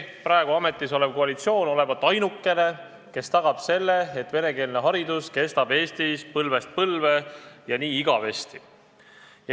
Praegu ametis olev koalitsioon olevat ainukene, kes tagab selle, et venekeelne haridus kestab Eestis põlvest põlve, ja nii igavesti.